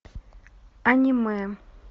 аниме